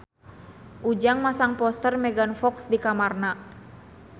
Ujang masang poster Megan Fox di kamarna